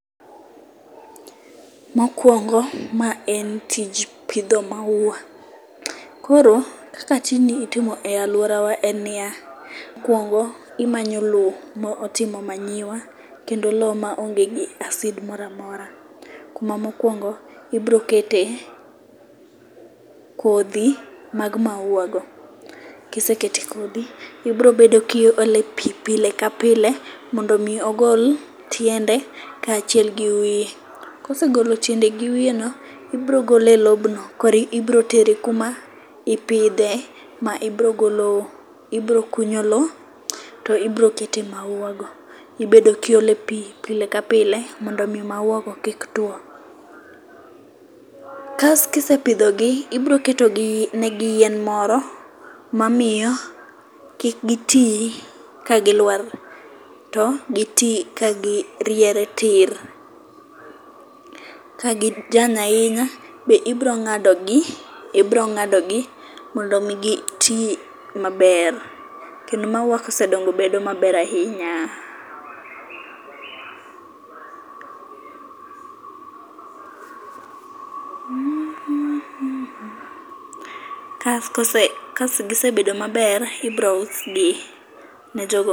Mokwongo ma en tij pidho maua. Koro kaka tijni itimo e laworawa en niya, mokeongo imanyo lowo motimo manyiwa kendo lowo maonge gi acid moramora, kuma mokwongo ibro kete kodhi mag maua go. kiseketo kodhi, ibro bedo kiolo pi pile kapile mondo omi ogol tiende kachiel gi wiye. Kosegolo tiende gi wiyeno, ibro gole e lobno, koro ibrotere kuma ipidhe ma ibro kunyo lowo to ibro kete mauago. Ibedo kiole pi pile ka pile mondo omi maua go ki tuwo. Kas kisepidhogi, ibro ketogi yien moro mamiyo kik giti kagilwar, to giti kagiriere tir. Kagiyany ahinya be ibro ng'adogi, ibro ng'adogi mondo omi giti maber, kendo maua kosedongo bedo maber ahinya.